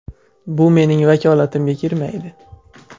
Bu mening vakolatimga kirmaydi.